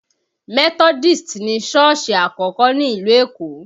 Methodist ni sọ́ọ̀sì àkọ́kọ́ ní ìlú Èkó